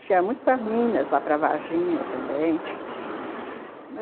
A gente ia muito para Minas, lá para Varginha também.